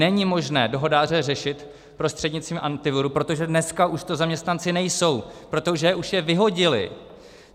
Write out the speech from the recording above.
Není možné dohodáře řešit prostřednictvím Antiviru, protože dneska už to zaměstnanci nejsou, protože už je vyhodili.